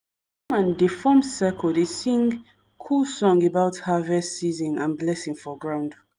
dey form circle dey sing cool song about harvest season and blessing for ground.